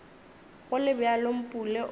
go le bjalo mpule o